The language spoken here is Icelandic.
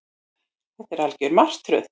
Þetta er algjör martröð